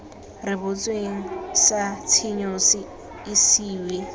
rebotsweng sa tshenyo se isiwe